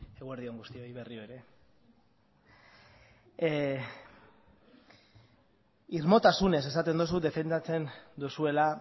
eguerdi on guztioi berriro ere irmotasunez esaten duzu defendatzen duzuela